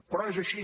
però és així